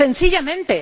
sencillamente.